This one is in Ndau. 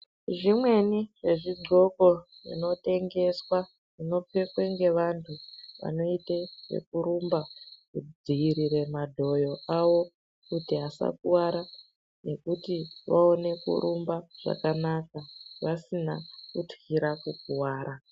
Zvimweni zvezvigonko zvinotengeswa zvinopfekwa nevantu vanoita zvekurumba kudzivirira madhoyo awk asakuwara nekuti vaone kurumba zvakanaka vasina kutkura kukuwara.